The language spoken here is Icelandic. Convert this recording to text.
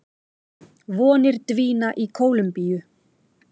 Vonir dvína í Kólumbíu